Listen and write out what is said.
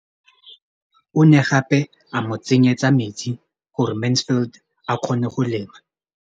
O ne gape a mo tsenyetsa metsi gore Mansfield a kgone go lema.